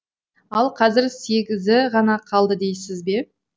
ал қазір сегізі ғана қалды дейсіз бе